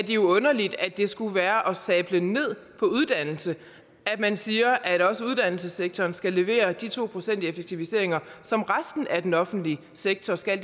jo underligt at det skulle være at sable ned på uddannelse at man siger at også uddannelsessektoren skal levere de to procent i effektiviseringer som resten af den offentlige sektor skal